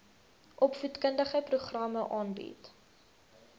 opvoedkundige programme aanbied